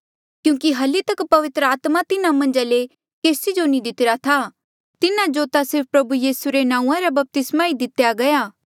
क्यूंकि ये हली तक पवित्र आत्मा तिन्हा मन्झा ले केसी जो नी दितरा था तिन्हा जो ता सिर्फ प्रभु यीसू रे नांऊँआं रा बपतिस्मा ही दितेया गया